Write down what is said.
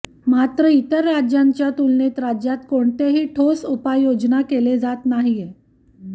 मात्र इतर राज्यांच्या तुलनेत राज्यात कोणातेही ठोस उपाययोजना केले जात नाहीये